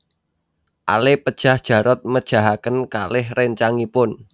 Ale pejah Jarot mejahaken kalih réncangipun